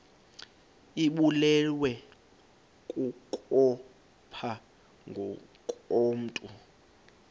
ibulewe kukopha ngokomntu